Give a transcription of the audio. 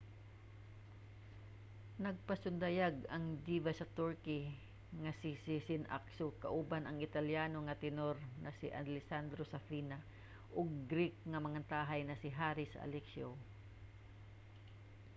nagpasundayag ang diva sa turkey nga si sezen aksu kauban ang italiano nga tenor nga si alessandro safina ug greek nga mangantahay nga si haris alexiou